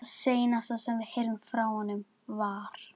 LÁRUS: Ekki núna, væni minn.